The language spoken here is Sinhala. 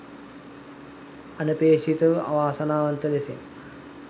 අනපේක්ෂිතව අවාසනාවන්ත ලෙසින්